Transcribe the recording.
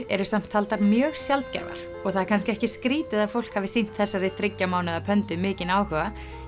eru samt taldar mjög sjaldgæfar og það er kannski ekki skrítið að fólk hafi sýnt þessari þriggja mánaða mikinn áhuga